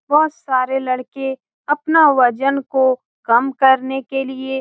बहुत सारे लड़के अपना वजन को कम करने के लिए --